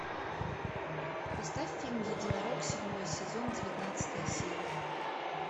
поставь фильм единорог седьмой сезон девятнадцатая серия